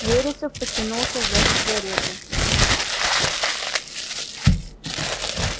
вересов потянулся за сигарой